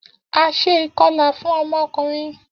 A ṣe ikọla fun ọmọ ọkunrin.